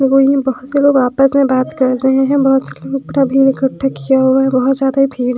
बहुत से लोग आपस में बात कर रहे हैं बहुत सारे लोग अपना भीड़ इकट्ठा किया हुआ बहुत ज्यादा भीड़--